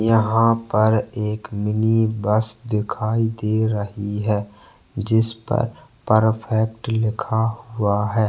यहाँ पर एक मिनी बस दिखाई दे रही है जिस पर परफेक्ट लिखा हुआ है।